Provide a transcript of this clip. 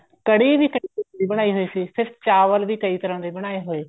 ਕੜ੍ਹੀ ਵੀ ਕਈ ਤਰ੍ਹਾਂ ਦੀ ਬਣਾਈ ਹੋਈ ਫ਼ੇਰ ਸੀ ਚਾਵਲ ਵੀ ਕਈ ਤਰ੍ਹਾਂ ਦੇ ਬਨਾਏ ਹੋਏ